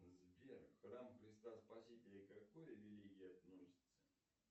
сбер храм христа спасителя к какой религии относится